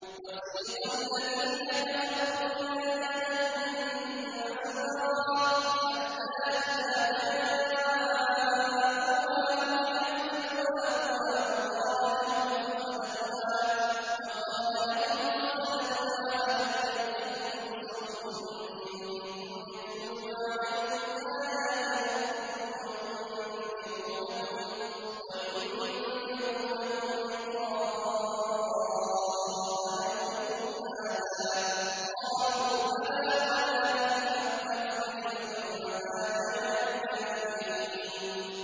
وَسِيقَ الَّذِينَ كَفَرُوا إِلَىٰ جَهَنَّمَ زُمَرًا ۖ حَتَّىٰ إِذَا جَاءُوهَا فُتِحَتْ أَبْوَابُهَا وَقَالَ لَهُمْ خَزَنَتُهَا أَلَمْ يَأْتِكُمْ رُسُلٌ مِّنكُمْ يَتْلُونَ عَلَيْكُمْ آيَاتِ رَبِّكُمْ وَيُنذِرُونَكُمْ لِقَاءَ يَوْمِكُمْ هَٰذَا ۚ قَالُوا بَلَىٰ وَلَٰكِنْ حَقَّتْ كَلِمَةُ الْعَذَابِ عَلَى الْكَافِرِينَ